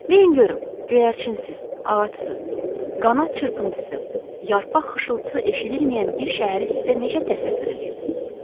Deyin görüm, göyərçinsiz, ağacsız, qanad çırpıntısı, yarpaq xışıltısı eşidilməyən bir şəhəri sizə necə təsəvvür eləyim?